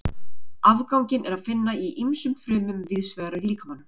Afganginn er að finna í ýmsum frumum víðs vegar í líkamanum.